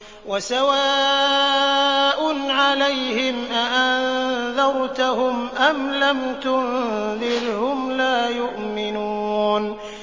وَسَوَاءٌ عَلَيْهِمْ أَأَنذَرْتَهُمْ أَمْ لَمْ تُنذِرْهُمْ لَا يُؤْمِنُونَ